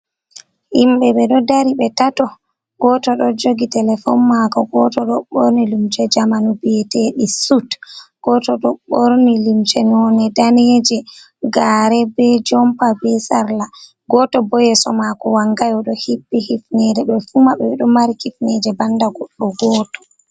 Himɓɓe ɓe ɗo dari ɓe tato, goto ɗo jogi telefon mako, goto ɗo ɓorni lumce jamanu bi, eteɗi sut, gooto ɗo ɓorni lumce none daneje gare, be jompa, be sarla. Gooto bo yeeso mako wangay oɗo hippi hifnere ɓefu maɓɓe ɓeɗo mari kifneje banda goɗɗo gooto.